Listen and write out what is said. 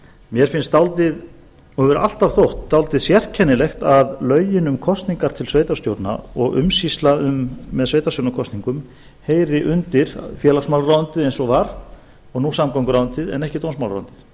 mér finnst og hefur alltaf þótt dálítið sérkennilegt að lögin um kosningar til sveitarstjórna og umsýsla með sveitarstjórnarkosningum heyri undir félagsmálaráðuneytið eins og var og nú samgönguráðuneytið en ekki dómsmálaráðuneytið